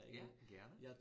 Ja, gerne